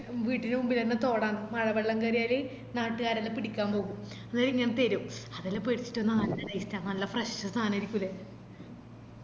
വീട്ടിന്റെ മുമ്പിലെന്നെ തോടാന്ന് മഴവെള്ളം കേറിയാല് നാട്ടുകാരെല്ലാം പിടിക്കാൻ പോകും അന്നേരം ഇങ്ങനെ തെരും അതെല്ലാം പിടിച്ചിറ്റ് വന്ന നല്ല taste ആ നല്ല fresh സാനാരിക്കുലെ